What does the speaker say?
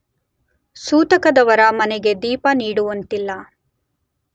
ಸೂತಕದವರ ಮನೆಗೆ ದೀಪ ನೀಡುವಂತಿಲ್ಲ.